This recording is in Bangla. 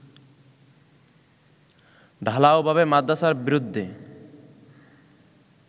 ঢালাও ভাবে মাদ্রাসার বিরুদ্ধে